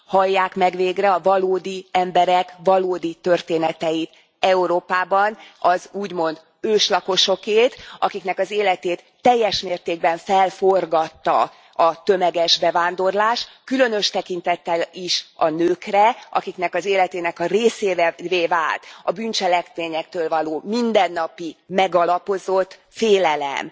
Hallják meg végre a valódi emberek valódi történeteit Európában, az úgymond őslakosokét, akiknek az életét teljes mértékben felforgatta a tömeges bevándorlás, különös tekintettel is a nőkre, akiknek az életének a részévé vált a bűncselekményektől való mindennapi megalapozott félelem.